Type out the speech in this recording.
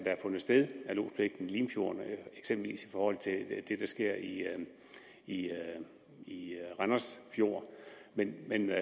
har fundet sted af lodspligten i limfjorden eksempelvis i forhold til det der sker i i randers fjord men men jeg